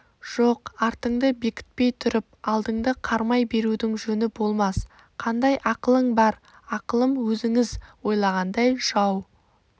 жоқ артыңды бекітпей тұрып алдыңды қармай берудің жөні болмас қандай ақылың бар ақылым өзіңіз ойлағандай жау